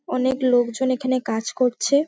অনেক লোকজন এখানে কাজ করছে।